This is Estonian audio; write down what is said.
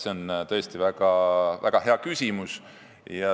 See on tõesti väga hea küsimus.